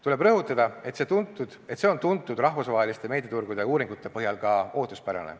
Tuleb rõhutada, et see on tuntud rahvusvaheliste meediaturgude uuringute põhjal ka ootuspärane.